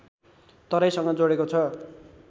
तराईसँग जोडेको छ